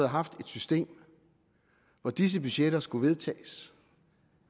haft et system hvor disse budgetter skulle vedtages